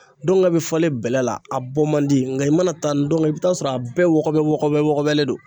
Don ka bɛ fɔlen bɛlɛ la a bɔ man di nka i mana taa ndɔngɛ i bi taa sɔrɔ a bɛɛ wɔgɔbɛ wɔgɔbɛlen le don.